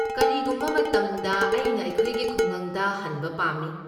ꯀꯔꯤꯒꯨꯝꯕ ꯃꯇꯝꯗ ꯑꯩꯅ ꯑꯩꯈꯣꯏꯒꯤ ꯈꯨꯡꯒꯪꯗ ꯍꯟꯕ ꯄꯥꯝꯃꯤ꯫